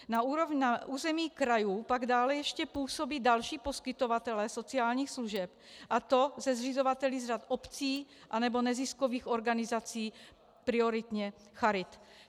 Na území krajů pak dále ještě působí další poskytovatelé sociálních služeb, a to se zřizovateli z řad obcí nebo neziskových organizací, prioritně charit.